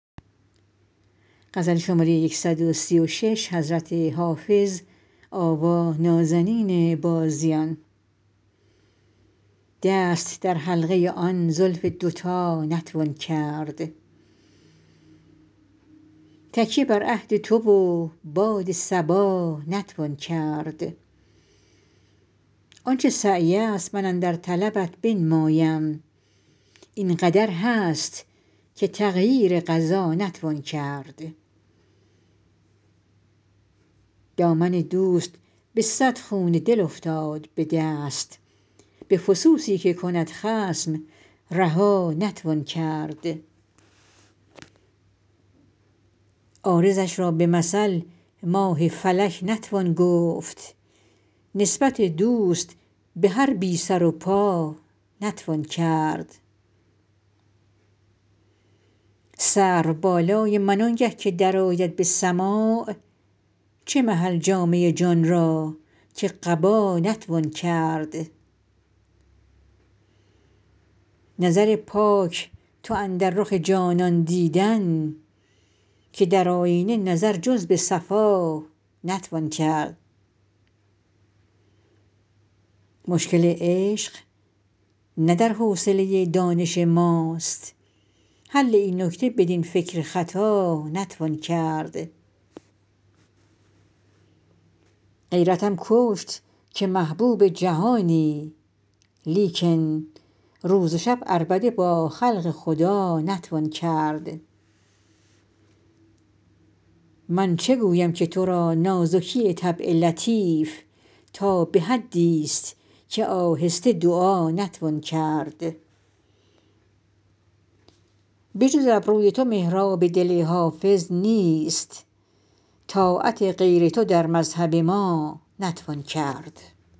دست در حلقه آن زلف دوتا نتوان کرد تکیه بر عهد تو و باد صبا نتوان کرد آن چه سعی است من اندر طلبت بنمایم این قدر هست که تغییر قضا نتوان کرد دامن دوست به صد خون دل افتاد به دست به فسوسی که کند خصم رها نتوان کرد عارضش را به مثل ماه فلک نتوان گفت نسبت دوست به هر بی سر و پا نتوان کرد سرو بالای من آنگه که درآید به سماع چه محل جامه جان را که قبا نتوان کرد نظر پاک تواند رخ جانان دیدن که در آیینه نظر جز به صفا نتوان کرد مشکل عشق نه در حوصله دانش ماست حل این نکته بدین فکر خطا نتوان کرد غیرتم کشت که محبوب جهانی لیکن روز و شب عربده با خلق خدا نتوان کرد من چه گویم که تو را نازکی طبع لطیف تا به حدیست که آهسته دعا نتوان کرد بجز ابروی تو محراب دل حافظ نیست طاعت غیر تو در مذهب ما نتوان کرد